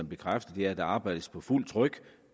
bekræfte er at der arbejdes på fuld tryk